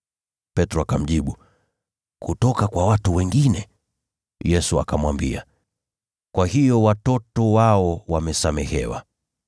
Petro akamjibu, “Kutoka kwa watu wengine.” Yesu akamwambia, “Kwa hiyo watoto wao wamesamehewa.